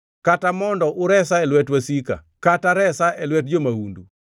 kata mondo uresa e lwet wasika, kata resa e lwet jo-mahundu?